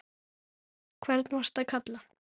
hvern varstu að kalla?